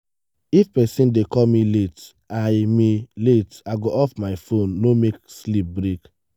if person dey call me late i me late i go off phone no make sleep break.